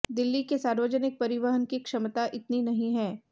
दिल्ली के सार्वजनिक परिवहन की क्षमता इतनी नहीं है